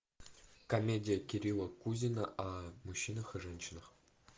комедия кирилла кузина о мужчинах и женщинах